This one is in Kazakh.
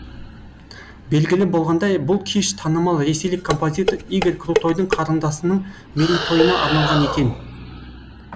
белгілі болғандай бұл кеш танымал ресейлік композитор игорь крутойдың қарындасының мерейтойына арналған екен